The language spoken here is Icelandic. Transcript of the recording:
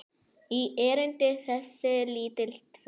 í erindi þessi lítil tvö.